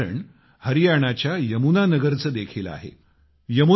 असेच एक उदाहरण हरियाणाच्या यमुना नगरचे देखील आहे